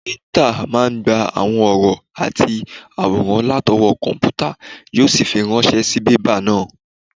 Píríntà máa n gba àwọn ọ̀rọ̀ àti àwòrán látọwọ́ kọ̀mpútà yó sì fi ránṣẹ́ sí bébà náà